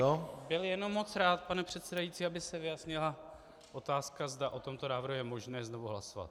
Já bych byl jenom moc rád, pane předsedající, aby se vyjasnila otázka, zda o tomto návrhu je možné znovu hlasovat.